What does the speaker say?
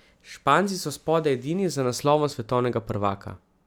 Španci so spodaj edini z naslovom svetovnega prvaka.